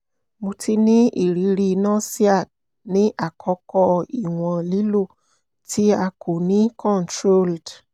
mo ti ni iriri nausea ni akọkọ iwọn lilo ti a ko ni controlled